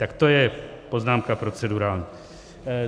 Tak to je poznámka procedurální.